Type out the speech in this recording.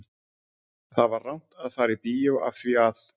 Það var rangt að fara í bíó af því að